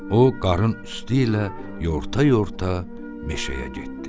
O qarın üstü ilə yorta-yorta meşəyə getdi.